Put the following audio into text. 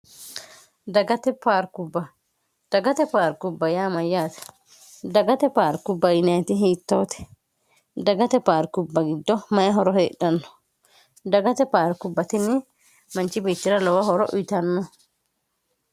dagate rkubba dagate paarkubba yaamayyaate dagate paarku bayineti hiittoote dagate paarkubba giddo mayi horo heedhanno dagate paarku batinni manchi biittira lowo horo uyitanno